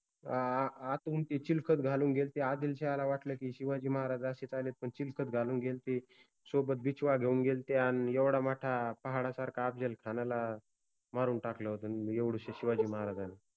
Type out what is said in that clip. आ अ आतुन ते चिलखत घालुन गेलते, आदिलशाहाला वाटल कि शिवाजि महाराज अशेच आले आहेत पन चिलखत घालून गेलते, सोबत बिछवा घेउन गेलते आणि एवढा मोठा पहाडासारखा अफजलखानाला मारुन टाकल होत न एवढुशे शिवाजि महाराजानि